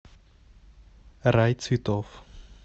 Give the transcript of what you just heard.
рай цветов